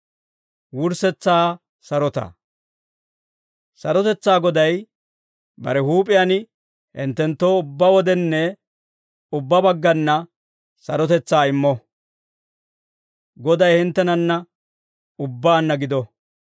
Sarotetsaa Goday bare huup'iyaan hinttenttoo ubbaa wodenne ubbaa baggana sarotetsaa immo. Goday hinttenanna ubbaanna gido.